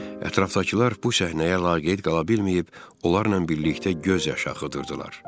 Ətrafdakılar bu səhnəyə laqeyd qala bilməyib onlarla birlikdə göz yaşı axıdırdılar.